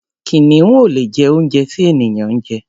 Kìnìún ò lè jẹ oúnjẹ tí ènìyàn ń jẹ.